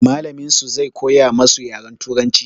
Mallamin su zai koya masu yaren turanci.